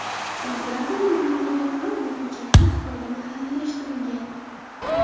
Imperatorning buyrug‘iga ko‘ra bu ko‘chatlar Xitoyda mahalliylashtirilgan.